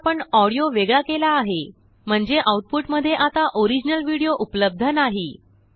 आता आपणऑडियो वेगळा केला आहे म्हणजेआउटपुट मध्ये आताओरिजिनल विडियो उप्लबद्ध नाही